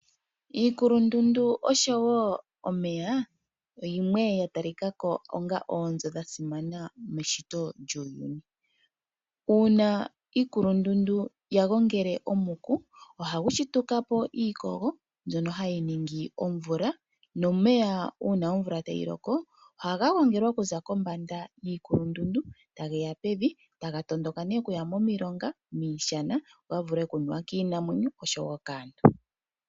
Iikulundundu oshowo omeya, yimwe ya talika ko onga oonzo dha simana meshito lyuuyuni. Uuna iikulundundu ya gongele omuku, oha gu shituka po iikogo mbyono hayi ningi omvula, nomeya uuna omvula tayi loko ohaga gongele okuza kombanda yiikulundundu , tage ya pevi taga tondoka nee okuya momilonga, miishana opo ga vule oku nuwa kiinamwenyo oshowo kaantu.